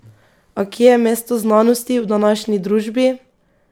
A kje je mesto znanosti v današnji družbi?